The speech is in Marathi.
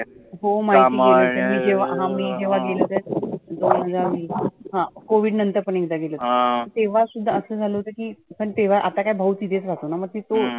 हो माहीती आहे. जेव्हा आम्ही गेलो त्या हं covide नंतर आपण एकदा गेलेलो. तेव्हा सुद्धा असं झालं होतं की तेव्हा आता काय भाऊ तिथेच राहतोना मग तीथे